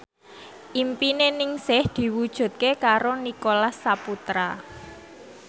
impine Ningsih diwujudke karo Nicholas Saputra